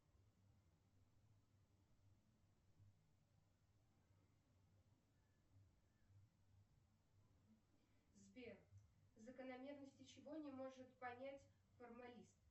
сбер закономерности чего не может понять формалист